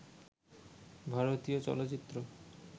ভারতীয় চলচ্চিত্র